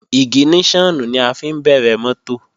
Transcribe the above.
Ìgìníṣọ̀nù ni a fi ń bẹ̀rẹ̀ mọ́tò